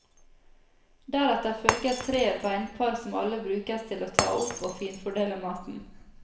Deretter følger tre beinpar som alle brukes til å ta opp og finfordele maten.